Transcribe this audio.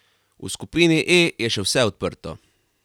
V skupini E je še vse odprto.